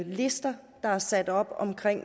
lister der er sat op om